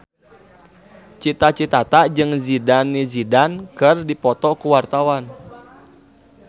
Cita Citata jeung Zidane Zidane keur dipoto ku wartawan